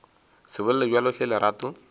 se bolele bjalo hle lerato